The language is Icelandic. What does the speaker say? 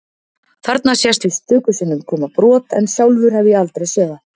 Þarna sést víst stöku sinnum koma brot en sjálfur hef ég aldrei séð það.